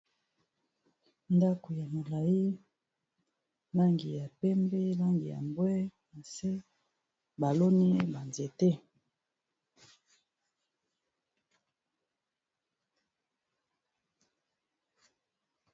Ndako ya molayi langi ya pembe langi ya mbwe nase ba loni ba nzete.